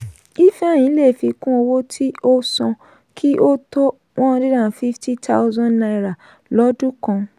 ifeanyi le fi kún owó tí ó san kí o tó one hundred and fifty thousand naira lọ́dún kan.